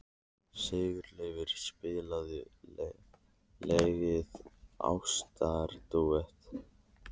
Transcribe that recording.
Sigurleifur, spilaðu lagið „Ástardúett“.